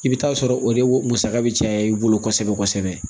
I bɛ taa sɔrɔ o de musaka bɛ caya i bolo kosɛbɛ kosɛbɛ